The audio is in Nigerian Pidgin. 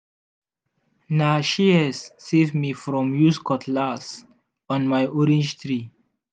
na shears save me from use cutlass on my orange tree.